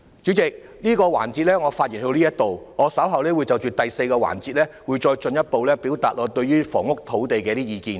主席，我在這個環節的發言到此為止，稍後我會在第四個環節，進一步表達我對於房屋和土地的意見。